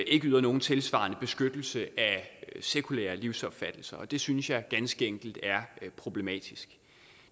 ikke yder nogen tilsvarende beskyttelse af sekulære livsopfattelser det synes jeg ganske enkelt er problematisk